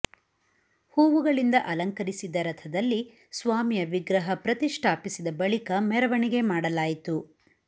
ಹೂವುಗಳಿಂದ ಅಲಂಕರಿಸಿದ್ದ ರಥದಲ್ಲಿ ಸ್ವಾಮಿಯ ವಿಗ್ರಹ ಪ್ರತಿಷ್ಠಾಪಿಸಿದ ಬಳಿಕ ಮೆರವಣಿಗೆ ಮಾಡಲಾಯಿತು